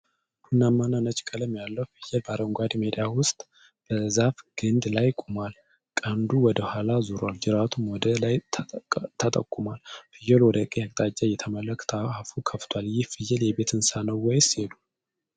ቡናማ እና ነጭ ቀለም ያለው ፍየል በአረንጓዴ ሜዳ ውስጥ በዛፍ ግንድ ላይ ቆሟል። ቀንዱ ወደ ኋላ ዞሯል, ጅራቱም ወደ ላይ ተጠቁሟል። ፍየሉ ወደ ቀኝ አቅጣጫ እየተመለከተ አፉ ከፍቷል። ይህ ፍየል የቤት እንስሳ ነው ወይስ የዱር?